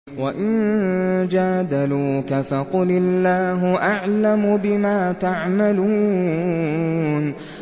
وَإِن جَادَلُوكَ فَقُلِ اللَّهُ أَعْلَمُ بِمَا تَعْمَلُونَ